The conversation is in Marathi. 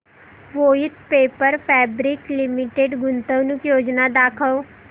वोइथ पेपर फैब्रिक्स लिमिटेड गुंतवणूक योजना दाखव